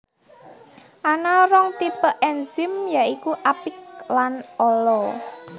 Ana rong tipe ènzim ya iku apik lan ala